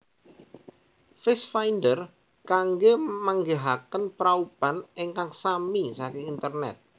Face Finder kanggé manggihaken praupan ingkang sami saking internet